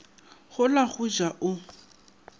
go la go ja o